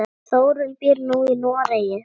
Þórunn býr nú í Noregi.